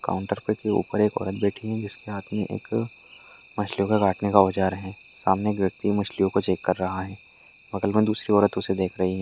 -- Counter पे के ऊपर एक औरत बैठी है जिसके हाथ में एक मछलियों को काटने का औजार है सामने एक व्यक्ति मछलियों को चेक कर रहा है बगल में दूसरी औरत उसे देख रही है।